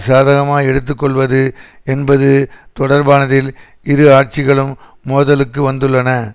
சாதகமாக எடுத்து கொள்வது என்பது தொடர்பானதில் இரு ஆட்சிகளும் மோதலுக்கு வந்துள்ளன